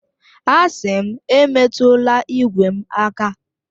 Asị m, emetụla igwe m aka!